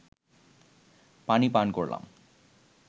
পানি পান করলাম